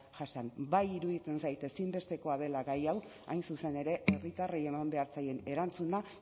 jasan bai iruditzen zait ezinbestekoa dela gai hau hain zuzen ere herritarrei eman behar zaien erantzuna